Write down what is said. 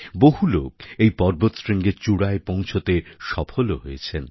বহু লোক এই পর্বতশৃঙ্গের চূড়ায় পৌঁছতে সফলও হয়েছেন